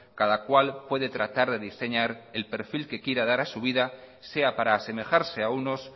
cada cual puede tratar de diseñar el perfil que quiera dar a su vida sea para asemejarse a unos